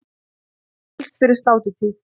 Helst fyrir sláturtíð.